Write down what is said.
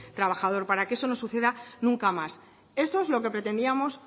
trabajador para que eso no suceda nunca más eso es lo que pretendíamos